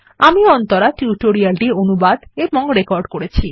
আমি অন্তরা টিউটোরিয়াল টি অনুবাদ এবং রেকর্ড করেছি